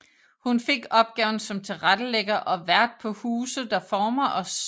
Hun fik opgaven som tilrettelægger og vært på Huse der former os